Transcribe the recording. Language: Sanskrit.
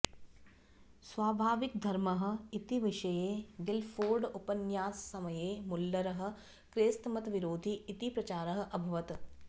स्वाभाविकधर्मः इतिविषये गिल्फोर्ड् उपन्याससमये मुल्लरः क्रैस्तमतविरोधी इति प्रचारः अभवत्